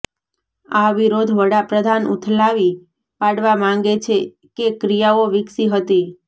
આ વિરોધ વડાપ્રધાન ઉથલાવી પાડવા માંગે છે કે ક્રિયાઓ વિકસી હતી